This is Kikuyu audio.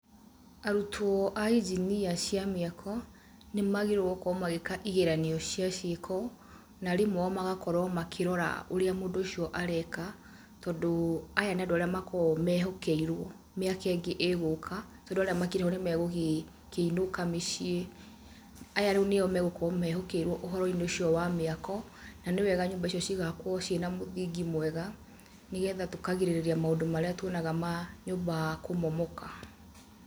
Arutwo a injinia cia mĩako, nĩ magĩrĩrwo nĩ gũkorwo magĩka igeranio cia ciĩko na arimũ ao magakorwo makĩrora ũrĩa mũndũ ũcio areka, tondũ, aya nĩ andũ arĩa makoragwo mehokerwo mĩaka ĩngĩ ĩgũka, tondũ arĩa makĩrĩ ho nĩ megũkĩinũka mĩciĩ, aya rĩu nĩo megukorwo mehokerwo ũhoro-inĩ ũcio wa mĩako, na nĩ wega nyũmba icio cigakwo cina mĩthingi mĩega, nĩ getha tũkagirĩrĩria maũndũ marĩa tuonaga ma nyũmba kũmomoka.